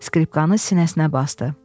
Skripkanı sinəsinə basdı.